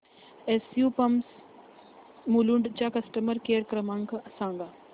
SU pumps Mulund चा customer care क्रमांक सांगा